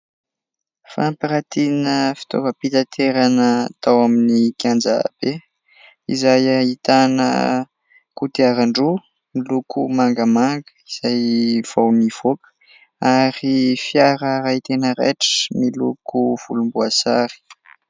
Fampiratiana fitova-pitaterana tao amin'ny kianjabe. Izay ahitana kodiaran-droa miloko mangamanga izay vao nivoaka. Ary fiara iray tena raitra miloko volomboasary.